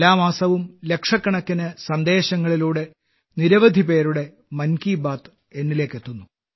എല്ലാ മാസവും ലക്ഷക്കണക്കിന് സന്ദേശങ്ങളിലൂടെ നിരവധിപേരുടെ മൻ കി ബാത്ത് എന്നിലേക്ക് എത്തുന്നു